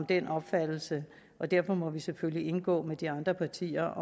den opfattelse og derfor må vi selvfølgelig indgå med de andre partier